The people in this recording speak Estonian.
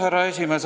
Härra esimees!